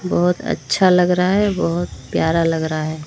बहोत अच्छा लग रहा है बहोत प्यारा लग रहा है।